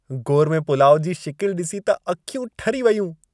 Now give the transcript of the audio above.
Gourmet पुलाउ जी शिकिलि डि॒सी त अखियूं ठरी वयूं।